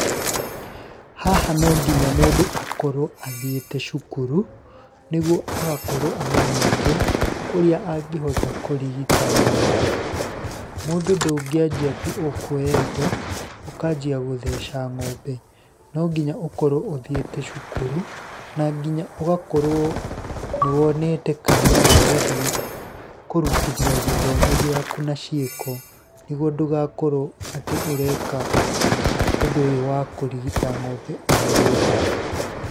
Haha no nginya mũndũ akorwo athiĩte cukuru, nĩguo agakorwo amenyete ũrĩa angĩhota kũrigita ng'ombe, mũndũ ndũngĩanjia tu o kuoya indo ũkanjia gũtheca ng'ombe. No nginya ũkorwo ũthiĩte cukuru na nginya ũgakorwo nĩ wonete kanya ga gũthiĩ kũrutithia gĩthomo gĩaku na ciĩko, nĩguo ndũgakorwo atĩ ũreka ũndũ wa kũrigita ng'ombe oro ũguo.